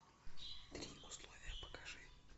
три условия покажи